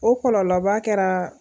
O kɔlɔlɔba kɛra.